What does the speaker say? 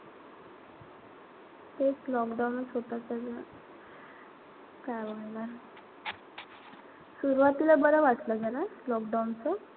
तेच lockdown च होत सगळं. काय बोलणार. सुरवातीला बरं वाटलं जरा lockdown च.